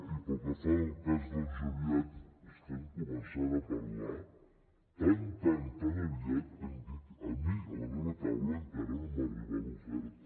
i pel que fa al cas del joviat estem començant a parlar tan tan tan aviat que a mi a la meva taula encara no m’ha arribat l’oferta